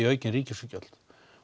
aukin ríkisútgjöld